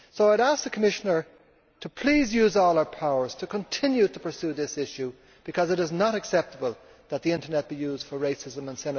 I ask the Commissioner to use all her powers to continue to pursue this issue, because it is not acceptable that the Internet should be used for racism and xenophobia.